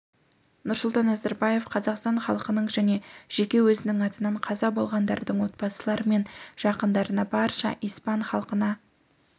нұрсұлтан назарбаев қазақстан халқының және жеке өзінің атынан қаза болғандардың отбасылары мен жақындарына барша испан халқына